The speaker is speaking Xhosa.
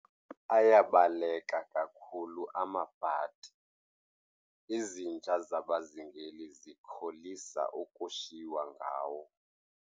Ayabaleka kakhulu amabhadi, izinja zabazingeli zikholisa ukushiywa ngawo.